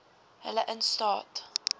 hulle in staat